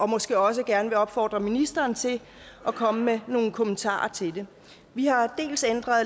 måske også gerne opfordre ministeren til at komme med nogle kommentarer til det vi har